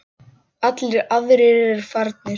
Allir aðrir eru farnir.